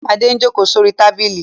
Adé ń ó ń jókòó sórí tábìlì.